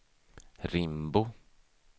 Rimbo